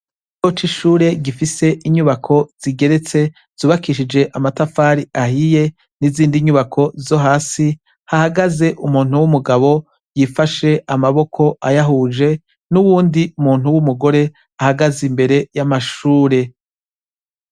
icoce ishure gifise inyubako zigeretse zubakishije amatafari ahiye n'izindi nyubako zo hasi hahagaze umuntu w'umugabo yifashe amaboko ayahuje n'uwundi muntu w'umugore ahagaze imbere y'amashure